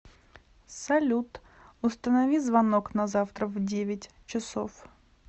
салют установи звонок на завтра в девять часов